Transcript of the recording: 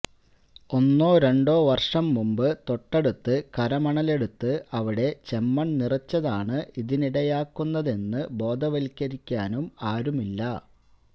ഒന്നോ രണ്ടോ വര്ഷംമുമ്പ് തൊട്ടടുത്ത് കരമണലെടുത്ത് അവിടെ ചെമ്മണ് നിറച്ചതാണ് ഇതിനിടയാക്കുന്നതെന്ന് ബോധവത്കരിക്കാനും ആരുമില്ല